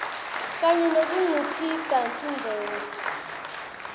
kanye nekunciphisa tindleko